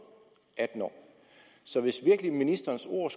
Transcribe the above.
atten år så hvis ministerens ord